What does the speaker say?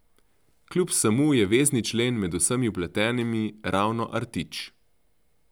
Kljub vsemu je vezni člen med vsemi vpletenimi ravno Artič.